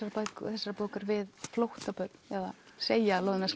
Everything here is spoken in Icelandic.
þessarar bókar við flóttabörn eða segja að loðna